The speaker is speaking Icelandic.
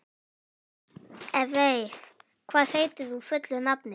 Evey, hvað heitir þú fullu nafni?